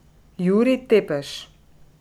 Jurij Tepeš.